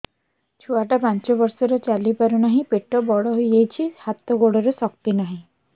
ଛୁଆଟା ପାଞ୍ଚ ବର୍ଷର ଚାଲି ପାରୁନାହଁ ପେଟ ବଡ ହୋଇ ଯାଉଛି ହାତ ଗୋଡ଼ର ଶକ୍ତି ନାହିଁ